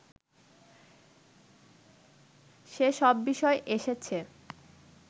যে সব বিষয় এসেছে